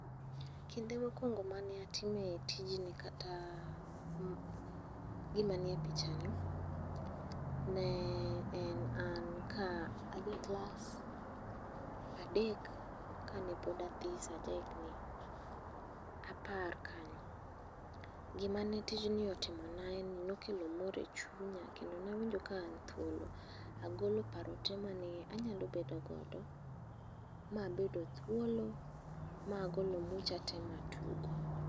Kinde mokuongo mane atime tijni kata gima nie pichani ne en an ka aja klas adek kane pod athis aja higni apar kanyo. Gima ne tijni otimona en ni nokelo mor e chunya kendo nawinjo ka na thuolo agolo paro te mane anyalo bedo godo ma abedo thuolo ma agolo mucha te ma atugo